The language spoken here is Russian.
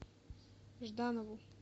жданову